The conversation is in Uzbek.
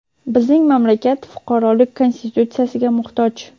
Bizning mamlakat fuqarolik Konstitutsiyasiga muhtoj.